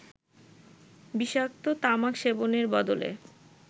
বিষাক্ত তামাক সেবনের বদলে